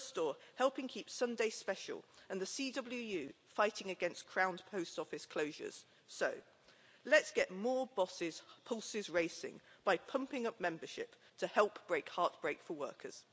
Usdaw helping Keep Sunday Special' and the CWU fighting against crown post office closures. So, let's get more bosses' pulses racing by pumping up membership to help break heartbreak for workers.